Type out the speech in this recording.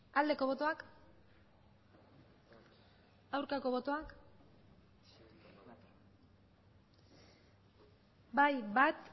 aldeko botoak aurkako botoak bai bat